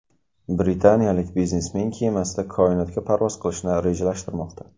Britaniyalik biznesmen kemasida koinotga parvoz qilishni rejalashtirmoqda.